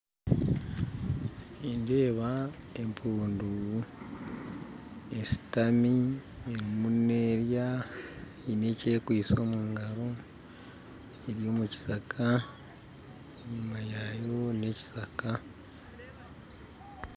Nindeeba empundu eshitami erimu nerya eine ekyekwitse mu ngaro eri mu kishaka enyuma yaayo n'ekishaka